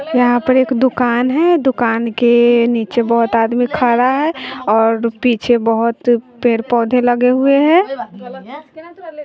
यहां पर एक दुकान है दुकान के नीचे बहुत आदमी खड़ा है और पीछे बहुत पेड़ पौधे लगे हुए है।